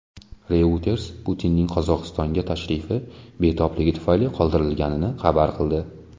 Reuters Putinning Qozog‘istonga tashrifi betobligi tufayli qoldirilganini xabar qildi.